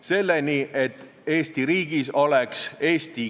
See muudatus ei takistaks keeleõpet, ei takistaks eesti keele majade asutamist.